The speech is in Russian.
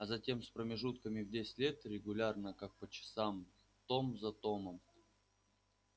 а затем с промежутками в десять лет регулярно как по часом том за томом